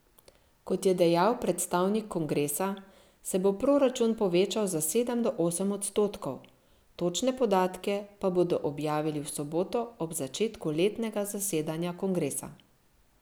Kot je dejal predstavnik kongresa, se bo proračun povečal za sedem do osem odstotkov, točne podatke pa bodo objavili v soboto ob začetku letnega zasedanja kongresa.